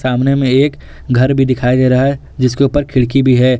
सामने में एक घर भी दिखाई दे रहा है जिसके ऊपर खिड़की भी है।